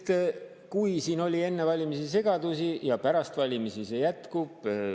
Aga kui siin oli enne valimisi segadusi, siis pärast valimisi need jätkuvad.